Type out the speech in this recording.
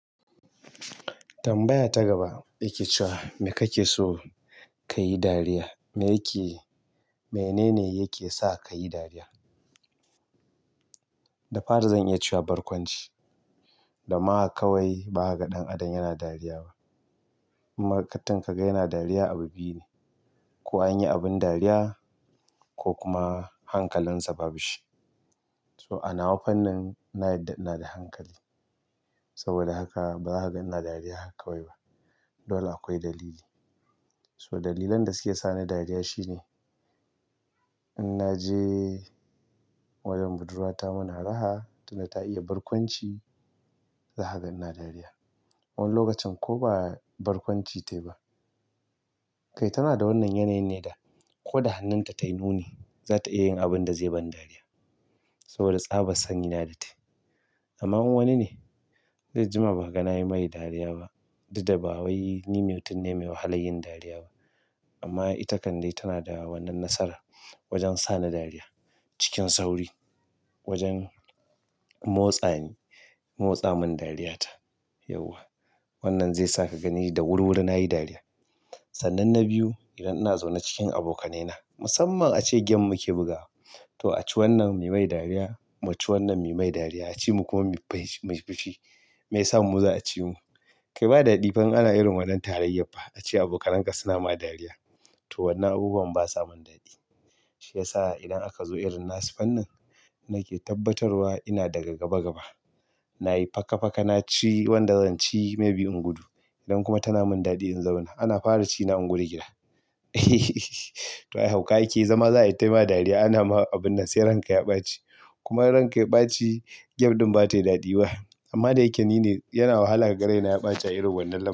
Tambaya ta gaba yake cewa me kake so kayi dariya? Menene yake sa kayi dariya? Da fari zan iya cewa barkwanci. Da ma kawai baza ka ga ɗan adam yana dariya ba. In mutum kaga yana dariya abu biyu ne, ko anyi abin dariya ko kuma hankalinsa babu shi. So a nawa fannin na yarda ina da hankali. Saboda haka ba zaka ga ina dariya haka kawai ba. Dole akwai dalili. So dalilan da suke sani dariya shine in naje wajen budurwata muna raha, tunda ta iya barkwanci, zaka ga ina dariya. Wani lokacin ko ba barkwanci tayi ba. Kai tana da wannan yanayin ne da ko da hannunta tayi nuni, za ta iya yin abinda zai bani dariya, saboda tsabar sani na da tayi. Amma in wani ne zai jima ba kaga nayi mai dariya ba. Duk da ba wai ni mutum ne mai wahalar yin dariya ba. Amma ita kan dai tana da wannan nasarar. Wajen sani dariya cikin sauri. Wajen motsani, motsa min dariya ta. Yauwa. Wannan zai sa ka gani da wuri wuri nayi dariya. Sannan na biyu, idan ina zaune cikin abokanaina, musamman ace game muke bugawa. To a ci wannan muyi mai dariya, mu ci wannan muyi mai dariya. A ci mu kuma mu fi, mu fi shi. Me yasa mu za a ci mu? Kai ba daɗi fa in ana irin wannan tarayyar fa. Ace abokanan ka suna ma dariya. To wannan abubuwan basa mun daɗi. Shi yasa idan aka zo irin nasu fannin, nake tabbatarwa ina daga gaba gaba. Nayi faka faka, na ci wanda zan ci maybe in gudu. Idan kuma tana min daɗi in zauna, ana fara ci na in gudu gida. To ai hauka ake zama za'ia ta yi ma dariya. Ana ma abunda sai ranka ya ɓaci. Kuma in ranka ya ɓaci, game ɗin baza tayi daɗi ba. Amma da yake nine yana wahala ka ga raina ya ɓaci a irin wannan lamarin.